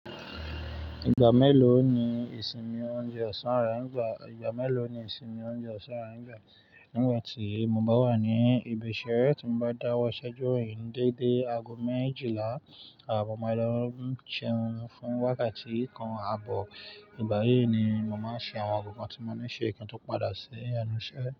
Ìgbà mélòó ni ìsinmi oúnjẹ ọ̀sán rà nígbà tí mo bá wà ní ibi iṣẹ́ rẹ tí mo bá dáwọ́ iṣẹ́ duro ni dédé aago méjìlá. Àwọn ọmọ ìlú ń ṣeun fún wákàtí kan. Àbọ̀ ìbàrí ni mo máa ń ṣe àwọn gbọ̀ngàn tí mo ní ṣe kí n tó padà sí ẹnu iṣẹ́.